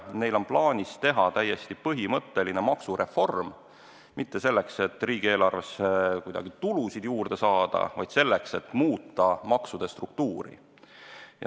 Neil on plaanis teha täiesti põhimõtteline maksureform – mitte selleks, et riigieelarvesse kuidagi tulusid juurde saada, vaid selleks, et muuta maksude struktuuri.